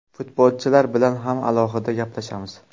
Futbolchilar bilan ham alohida gaplashamiz.